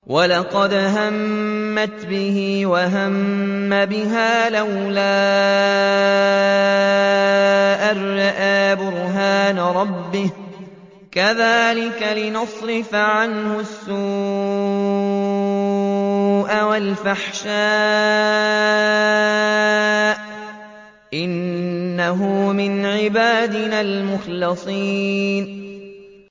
وَلَقَدْ هَمَّتْ بِهِ ۖ وَهَمَّ بِهَا لَوْلَا أَن رَّأَىٰ بُرْهَانَ رَبِّهِ ۚ كَذَٰلِكَ لِنَصْرِفَ عَنْهُ السُّوءَ وَالْفَحْشَاءَ ۚ إِنَّهُ مِنْ عِبَادِنَا الْمُخْلَصِينَ